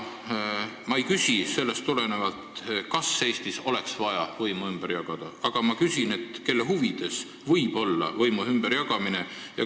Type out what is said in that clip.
Ma ei küsi sellest tulenevalt, kas Eestis oleks vaja võimu ümber jagada, aga ma küsin, kelle huvides võiks see võimu ümberjagamine olla.